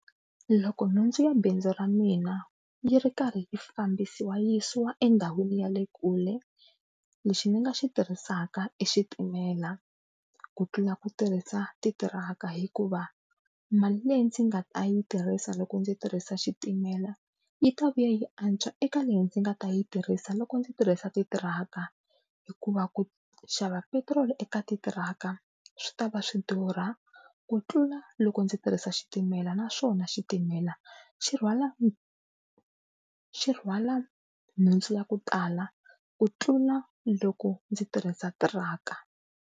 Loko nhundzu ya bindzu ra mina yi ri karhi yi fambisiwa yi yisiwa endhawini ya le kule lexi ni nga xi tirhisaka i xitimela ku tlula ku tirhisa titiraka, hikuva mali leyi ndzi nga ta yi tirhisa loko ndzi tirhisa xitimela yi ta vuya yi antswa eka leyi ndzi nga ta yi tirhisa loko ndzi tirhisa titiraka, hikuva ku xava petiroli eka titiraka swi ta va swi durha ku tlula loko ndzi tirhisa xitimela naswona xitimela xi rhwala xi rhwala nhundzu ya ku tala ku tlula loko ndzi tirhisa tiraka.